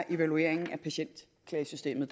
evalueringen af patientklagesystemet